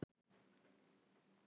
Hvernig verður framtíðin?